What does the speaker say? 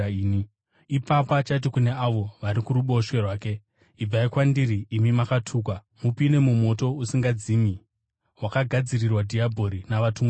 “Ipapo achati kune avo vari kuruboshwe rwake, ‘Ibvai kwandiri imi makatukwa mupinde mumoto usingadzimi wakagadzirirwa dhiabhori navatumwa vake.